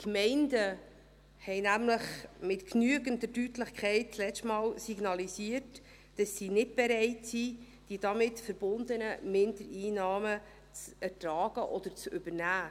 Die Gemeinden haben nämlich letztes Mal mit genügender Deutlichkeit signalisiert, dass sie nicht bereit sind, die damit verbundenen Mindereinnahmen zu ertragen oder zu übernehmen.